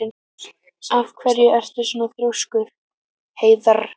Af hverju ertu svona þrjóskur, Heiðarr?